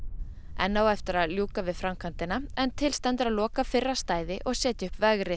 enn á eftir að ljúka við framkvæmdina en til stendur að loka fyrra stæði og setja upp vegrið